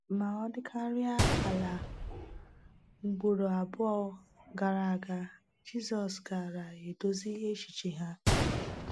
Ma ọ dịkarịa ala ugboro abụọ gara aga, Jizọs gaara edozi echiche ha.